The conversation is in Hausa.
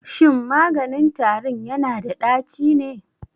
Shin maganin tarin yana da ɗaci ne?